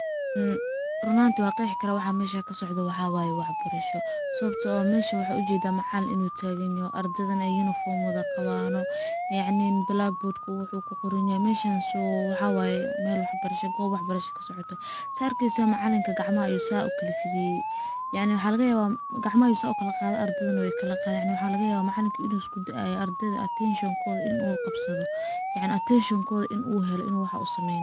Run ahantii waan qeexi karaa ,waxa meshaan ka socdo waxa waye ,wax barasho sawabtoo ah waxaan u jedaa in uu tagan yaho ,ardada na ay uniform wada qabaan oo yacni blackboard uu ku qoran yahay . So meshaan waxa waye meel wax barasha ,goob wax barasha ka socoto ,saa arkeysaan macalinka gacmaha ayuu saa u kala fidiye ,yacni waxa laga yawaa gacmaha ayuu saa u kala qaade ardadana weey kala qadeen ,yacni waxa laga yawaa macalinka inuu isku da'ayo ardada attention kooda in uu qabsado, yacni attention kooda in uu helo in uu waxaa u sameynayo.